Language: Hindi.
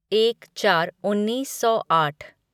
एक चार उन्नीस सौ आठ